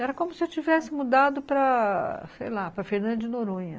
Era como se eu tivesse mudado para, sei lá, para Fernanda de Noronha.